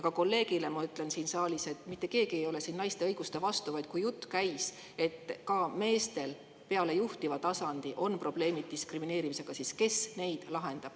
Ja kolleegile siin saalis ma ütlen, et mitte keegi ei ole siin naiste õiguste vastu, vaid kui jutt käis sellest, et ka meestel peale juhtiva tasandi on probleemid diskrimineerimisega, siis kes neid lahendab.